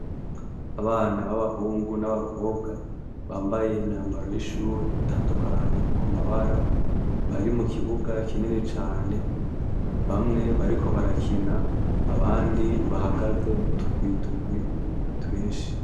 Abana ba bahungu n, abakobwa bambay' imyambaro y' ishur' itandukanye ku mabara, ari mu kibuga kinini cane, bamwe bariko barakin' abandi bahagaze mutugwi tugwi twinshi.